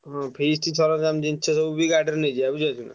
ହଁ feast ସରଞ୍ଜାମ ଜିନିଷ ସବୁ ବି ଗାଡିରେ ନେଇଯିବା ବୁଝିପାରୁଛନା?